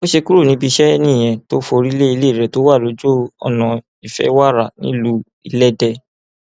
bó ṣe kúrò níbi iṣẹ nìyẹn tó forí lé ilé rẹ tó wà lójúọnà ìfẹwára nílùú ìlédè